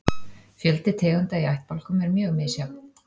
Fjöldi tegunda í ættbálkum er mjög misjafn.